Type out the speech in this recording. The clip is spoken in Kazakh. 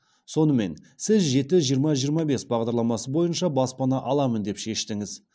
сонымен сіз жеті жиырма жиырма бес бағдарламасы бойынша баспана аламын деп шештіңіз